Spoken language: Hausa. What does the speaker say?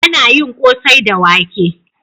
Ana yin kosai da wake.